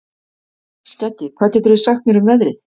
Skeggi, hvað geturðu sagt mér um veðrið?